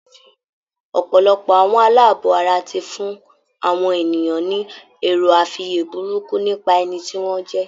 Ọ̀pọ̀lọpọ̀ àwọn aláàbọ̀ ara ti fún àwọn ènìyàn ni èroàfiyé burúkú nípa ẹni tí wọ́n jẹ